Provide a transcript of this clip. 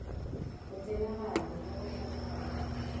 go tsenagare le go phathagatša